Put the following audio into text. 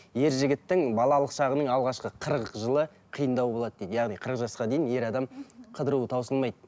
ер жігіттің балалық шағының алғашқы қырық жылы қиындау болады дейді яғни қырық жасқа дейін ер адам қыдыруы таусылмайды